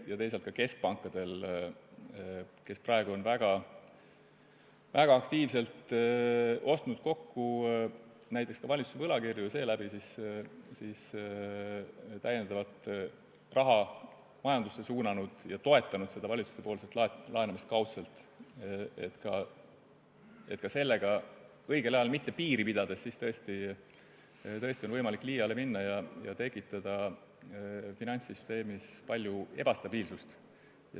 Ja teisalt on ka keskpangad praegu väga aktiivselt näiteks valitsuse võlakirju kokku ostnud, seeläbi majandusse lisaraha suunanud ja valitsuse laenamist kaudselt toetanud, Ka sellega on võimalik õigel ajal mitte piiri pidades liiale minna ja tekitada finantssüsteemis palju ebastabiilsust.